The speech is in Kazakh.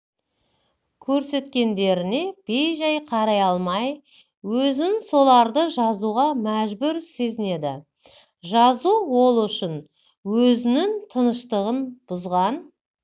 көрсеткендеріне бейжай қарай алмай өзін соларды жазуға мәжбүр сезінеді жазу ол үшін өзінің тыныштығын бұзған